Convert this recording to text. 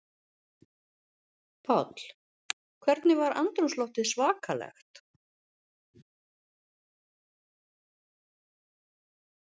Páll: Hvernig var andrúmsloftið svakalegt?